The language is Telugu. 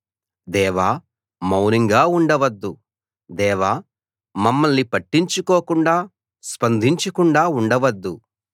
దేవా మౌనంగా ఉండవద్దు దేవా మమ్మల్ని పట్టించుకోకుండా స్పందించకుండా ఉండవద్దు